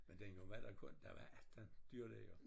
Men dengang var der kun der var 18 dyrlæger